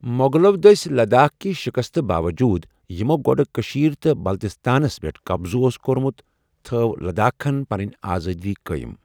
مغلو دٔسہِ لداخٕ كہِ شکستہٕ باووٚجوٗد، یِمَو گۄڈٕٕیہ کشیرِ تہٕ بلتستانس پٮ۪ٹھ قبضہٕ اوس کوٚرمُت، تھو لداخن پنٕنہِ آزادی قٲیم ۔